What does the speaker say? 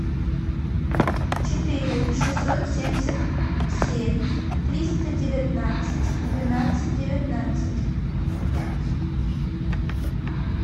четыре шестьсот семьдесят семь триста девятнадцать двенадцать девятнадцать